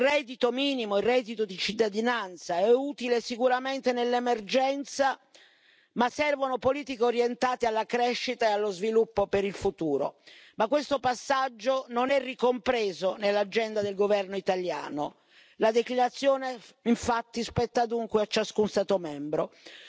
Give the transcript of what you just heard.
Il reddito minimo, il reddito di cittadinanza è utile sicuramente nell'emergenza, ma servono politiche orientate alla crescita e allo sviluppo per il futuro, ma questo passaggio non è ricompreso nell'agenda del governo italiano, la declinazione infatti spetta dunque a ciascuno Stato membro.